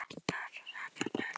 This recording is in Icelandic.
Benedikt fór með börnin í skólann.